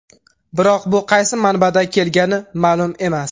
Biroq bu qaysi manbada kelgani ma’lum emas.